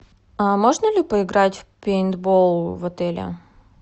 а можно ли поиграть в пейнтбол в отеле